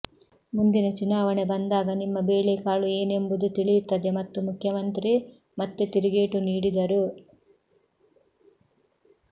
ಮುಂದಿನ ಚುನಾವಣೆ ಬಂದಾಗ ನಿಮ್ಮ ಬೇಳೆಕಾಳು ಏನೆಂಬುದು ತಿಳಿಯುತ್ತದೆ ಎಂದು ಮುಖ್ಯಮಂತ್ರಿ ಮತ್ತೆ ತಿರುಗೇಟು ನೀಡಿದರು